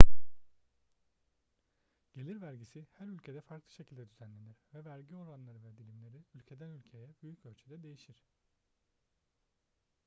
gelir vergisi her ülkede farklı şekilde düzenlenir ve vergi oranları ve dilimleri ülkeden ülkeye büyük ölçüde değişir